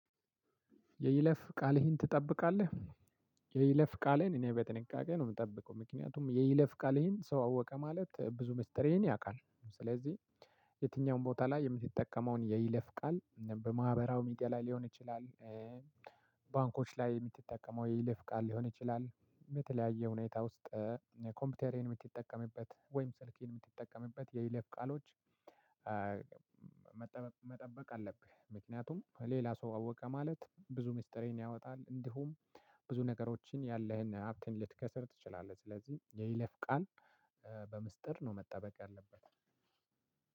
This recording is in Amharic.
የይለፍ ቃልህን ትጠብቃለህ? የይለፍ ቃሌን እኔ በጥንቃቄ ነው የምጠብቀው ምክንያቱም የይለፍ ይሄን ሰው አወቀ ማለት ብዙ ሚስጥር ይሄን ያውቃል። ስለዚህ የትኛውም ቦታ ላይ የሚጠቀመውን የይለፍ ቃል በማህበራዊ ሚዲያ ላይ ሊሆን ይችላል። ባንኮች ላይ የምትጠቀመው የይለፍ ቃል ሊሆን ይችላል በተለያየ ሁኔታ ውስጥ። ኮምፒውተርህን የምትጠቀምበት ወይም ስልክህን የምትጠቀምበት የይለፍ ቃሎች። መጠበቅ አለብህ ምክንያቱም ሌላ ሰው አወቀ ማለት ብዙ ሚስጥሬን ያወጣል። እንዲሁም ብዙ ነገሮችን ያለህን ሀብቴን ልትከስር ትችላለህ። ስለዚህ የይለፍ ቃል በምስጢር ነው መጠበቅ ያለበት።